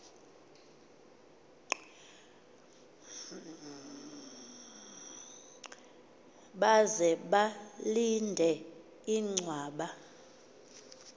baze balinde inchwaba